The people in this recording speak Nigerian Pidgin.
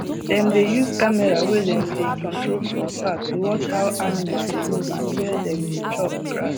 dem dey use camera wey dem dey control from far to watch how animal dey move and where dem dey chop grass